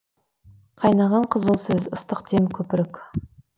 қайнаған қызыл сөз ыстық дем көпірік